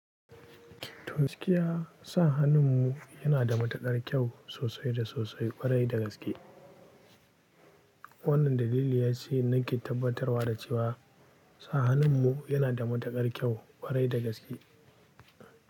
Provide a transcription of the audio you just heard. To gaskiya sa hannun mu yana da matuƙar kyau sosai da sosai ƙwarai dagaske. Wannan dalili ya ce nake tabbatarwa da cewa sa hannun mu yana da matuƙar kyau kwarai da gaske.